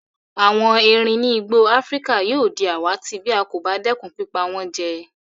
Àwon eerin ni igbó Afrika yio di àwàtì bí a kò ba dẹ́kun pípa wón jẹ